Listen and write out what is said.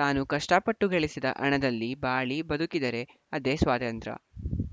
ತಾನು ಕಷ್ಟಪಟ್ಟು ಗಳಿಸಿದ ಹಣದಲ್ಲಿ ಬಾಳಿ ಬದುಕಿದರೆ ಅದೇ ಸ್ವಾತಂತ್ರ್ಯ